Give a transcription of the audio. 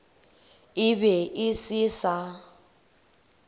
e be e se sa